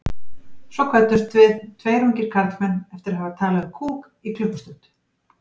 Svo kvöddumst við, tveir ungir karlmenn, eftir að hafa talað um kúk í klukkustund.